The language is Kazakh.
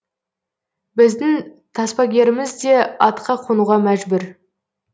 біздің таспагеріміз де атқа қонуға мәжбүр